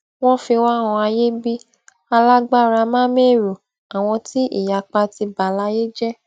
wọn fi wá han ayé bí alágbáramámẹrọ àwọn tí ìyapa ti bà láyé jẹ